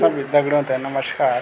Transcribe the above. सभी दगडियों थे नमस्कार।